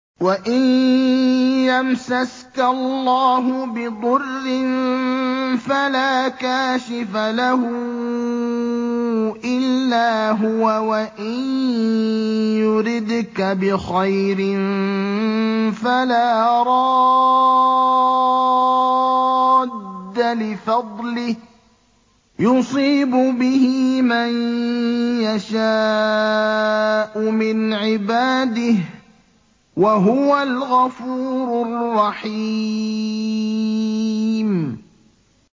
وَإِن يَمْسَسْكَ اللَّهُ بِضُرٍّ فَلَا كَاشِفَ لَهُ إِلَّا هُوَ ۖ وَإِن يُرِدْكَ بِخَيْرٍ فَلَا رَادَّ لِفَضْلِهِ ۚ يُصِيبُ بِهِ مَن يَشَاءُ مِنْ عِبَادِهِ ۚ وَهُوَ الْغَفُورُ الرَّحِيمُ